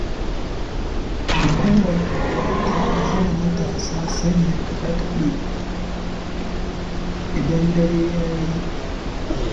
Hukumar unguwa ta hana matasa sanya kaɗe-kaɗe, idan dare ya yi.